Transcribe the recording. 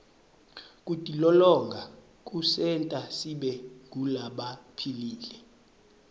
kutilolonga kusenta sibe ngulabaphilile